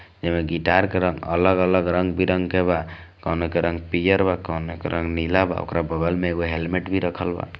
एमें गिटार का रंग अलग - अलग बा रंग-बेरंग के बा कोने के रंग पियर बा कोने के रंग नीला बा और ओकर बगल में हेल्मेट भी रखल बा।